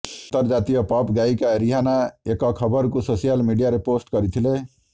ଅନ୍ତର୍ଜାତୀୟ ପପ୍ ଗାୟିକା ରିହାନା ଏକ ଖବରକୁ ସୋସିଆଲ ମିଡିଆରେ ପୋଷ୍ଟ କରିଥିଲେ